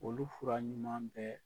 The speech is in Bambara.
Olu fura ɲuman bɛɛ